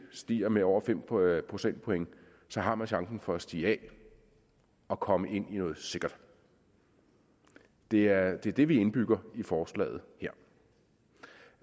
stiger med over fem procentpoint har man chancen for at stige af og komme ind i noget sikkert det er det det vi indbygger i forslaget